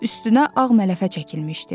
Üstünə ağ mələfə çəkilmişdi.